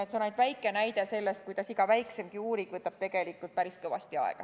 See on ainult väike näide sellest, kuidas iga väiksemgi uuring võtab tegelikult päris kõvasti aega.